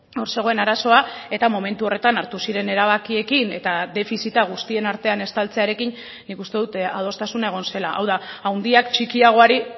hor zegoen arazoa eta momentu horretan hartu ziren erabakiekin eta defizita guztien artean estaltzearekin nik uste dut adostasuna egon zela hau da handiak txikiagoari